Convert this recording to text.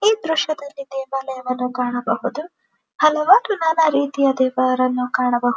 ಈ ದೃಶ್ಯದಲ್ಲಿ ದೇವಾಲವನ್ನು ಕಾಣಬಹುದುಹಲವಾರು ನಾನಾ ರೀತಿಯ ದೇವರುಗಳು ಕಾಣಬಹುದು.